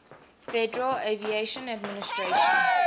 federal aviation administration